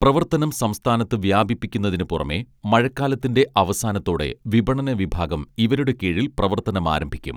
പ്രവർത്തനം സംസ്ഥാനത്ത് വ്യാപിപ്പിക്കുന്നതിന് പുറമേ മഴക്കാലത്തിന്റെ അവസാനത്തോടെ വിപണന വിഭാഗം ഇവരുടെ കീഴിൽ പ്രവർത്തനമാരംഭിക്കും